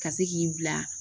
Ka se k'i bila